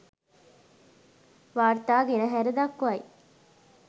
වාර්තා ගෙනහැර දක්වයි